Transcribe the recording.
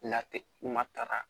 Late matara